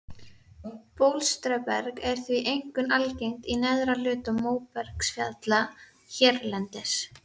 Bólstraberg er því einkum algengt í neðri hluta móbergsfjalla hérlendis.